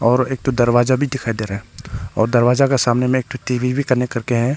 और एक ठो दरवाजा भी दिखाई दे रहा है और दरवाजा के सामने में टी_वी भी कनेक्ट कर के है।